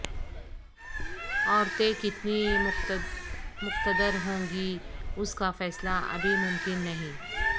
عورتیں کتنی مقتدر ہوں گی اس کا فیصلہ ابھی ممکن نہیں